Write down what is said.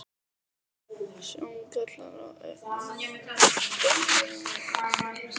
Sjóngallar og augnsjúkdómar eru mjög algengir.